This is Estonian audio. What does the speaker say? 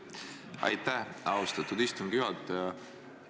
Aitäh, austatud istungi juhataja!